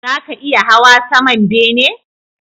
Zaka iya hawa saman bene?